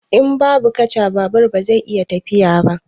In babu kaca, babur ba zai iya tafiya ba.